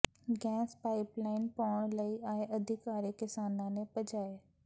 gas pipe line ਪਾਉਣ ਆਏ ਅਧਿਕਾਰੀ ਕਿਸਾਨਾਂ ਨੇ ਭਜਾਏ